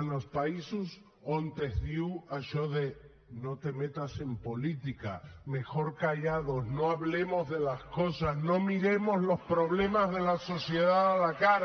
en els països on es diu això de no te metas en política mejor callados no hablemos de las cosas no miremos los problemas de la sociedad a la cara